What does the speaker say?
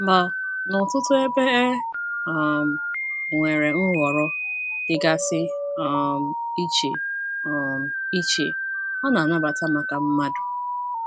Ma, n’ọtụtụ ebe e um nwere nhọrọ dịgasị um iche um iche a na - anabata maka mmadụ.